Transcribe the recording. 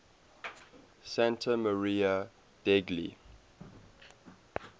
santa maria degli